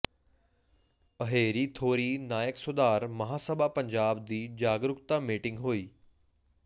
ਅਹੇਰੀ ਥੋਰੀ ਨਾਇਕ ਸੁਧਾਰ ਮਹਾਸਭਾ ਪੰਜਾਬ ਦੀ ਜਾਗਰੂਕਤਾ ਮੀਟਿੰਗ ਹੋਈ